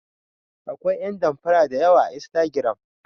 Akwai yan danfara dayawa a instagram.